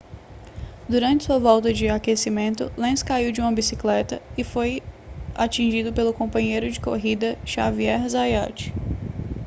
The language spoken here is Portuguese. durante sua volta de aquecimento lenz caiu de sua bicicleta e foi atingido pelo companheiro de corrida xavier zayat